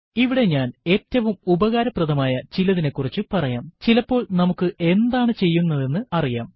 ഇവിടെ ഞാൻ ഏറ്റവും ഉപകാരപ്രദമായ ചിലതിനെക്കുറിച്ച് പറയാംചിലപ്പോൾ നമുക്ക് എന്താണ് ചെയ്യുന്നത് എന്നറിയാം